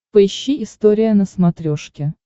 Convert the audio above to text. поищи история на смотрешке